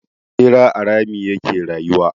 Ɓera a rami ya ke rayuwa.